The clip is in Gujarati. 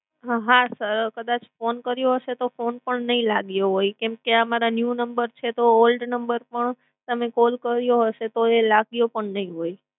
હા sir કદાચ phone કર્યો હશે તો phone પણ નઇ લાગ્યો હોય, કેમ ક આ મારા new number છે તો old number પર તમે call કર્યો હસે તો એ લાગ્યું પણ નઇ હોય.